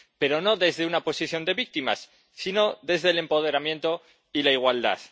Pero no desde una posición de víctimas, sino desde el empoderamiento y la igualdad.